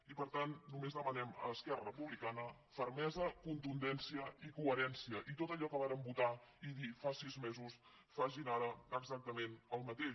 i per tant només demanem a esquerra republicana fermesa contundència i coherència i tot allò que vàrem votar i dir fa sis mesos que facin ara exactament el mateix